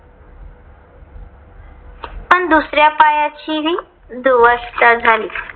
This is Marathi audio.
पण दुसऱ्या पायाचीही दुरवस्था झाली.